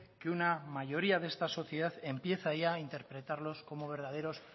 que una mayoría de esta sociedad empieza ya a interpretarlos como verdaderos